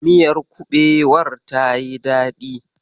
Miyar kuɓewar tayi daɗi.